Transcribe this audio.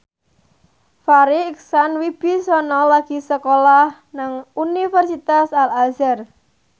Farri Icksan Wibisana lagi sekolah nang Universitas Al Azhar